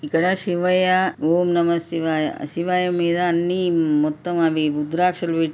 ఇక్కడ శివయ్య. ఓం నమశ్శివాయ. శివయ్య మీద అన్ని మొత్తం అవి రుద్రాక్షలు పె --